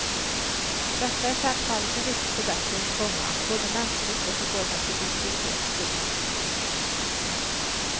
Detta är självfallet en viktig förbättring, komma både mänskligt och i form av produktivitet. punkt